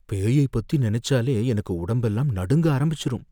பேயை பத்தி நனைச்சாலே எனக்கு உடம்பெல்லாம் நடுங்க ஆரம்பிச்சிரும்.